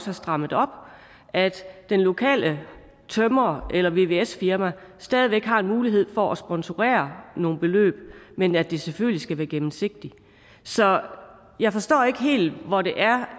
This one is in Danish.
har strammet op at den lokale tømrer eller vvs firma stadig væk har mulighed for at sponsorere nogle beløb men at det selvfølgelig skal være gennemsigtigt så jeg forstår ikke helt hvor det er